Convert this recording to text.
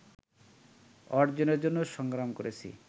অর্জনের জন্য সংগ্রাম করেছি